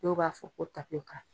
Dɔw b'a fɔ ko tapiyoka.